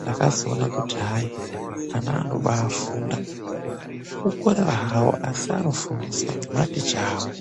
Ndakazoona kuti hai ana anobaafunda, kukorera hawo asi anofundiswa ngematicha awo.